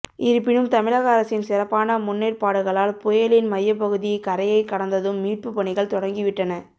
இருப்பினும் தமிழக அரசின் சிறப்பான முன்னேற்பாடுகளால் புயலின் மையப்பகுதி கரையை கடந்ததும் மீட்புப்பணிகள் தொடங்கிவிட்டன